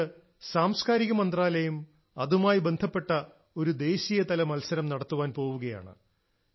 അതുകൊണ്ട് സംസ്ക്കാരിക മന്ത്രാലയം അതുമായി ബന്ധപ്പെട്ട ഒരു ദേശീയതല മത്സരം നടത്താൻ പോവുകയാണ്